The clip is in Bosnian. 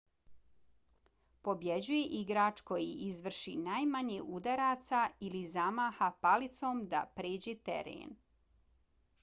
pobjeđuje igrač koji izvrši najmanje udaraca ili zamaha palicom da pređe teren